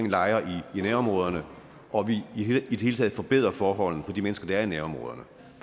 lejre i nærområderne og at vi i det hele taget forbedrer forholdene for de mennesker der er i nærområderne